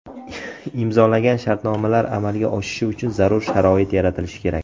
Imzolagan shartnomalar amalga oshishi uchun zarur sharoit yaratilishi kerak.